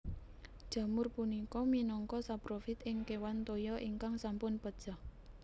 Jamur punika minangka saprofit ing kéwan toya ingkang sampun pejah